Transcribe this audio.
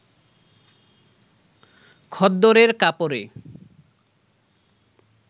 খদ্দরের কাপড়ে